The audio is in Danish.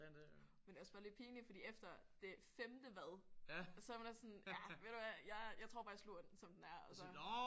Men det er også bare lidt pinligt fordi efter det 5. hvad så er man også sådan ja ved du hvad jeg jeg tror bare jeg sluger den som den er og så